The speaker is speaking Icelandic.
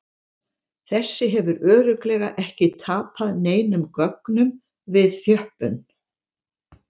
Þessi hefur örugglega ekki tapað neinum gögnum við þjöppun!